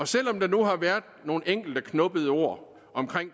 selv om der nu har været nogle enkelte knubbede ord om